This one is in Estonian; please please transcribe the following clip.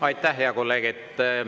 Aitäh, hea kolleeg!